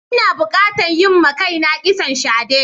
Ina bukatan yin ma kaina kitson shade.